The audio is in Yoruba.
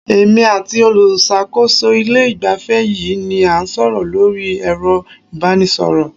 Èmi àti olùṣàkóso ilé ìgbafẹ́ yìí ni a ń sọ̀rọ̀ lórí ẹ̀rọ ìbánisọ̀rọ̀.